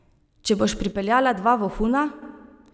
Če boš pripeljala dva vohuna?